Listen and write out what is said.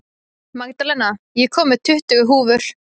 Magdalena, ég kom með tuttugu húfur!